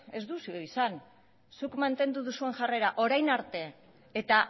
ez duzue izan zuk mantendu duzu jarrera orain arte eta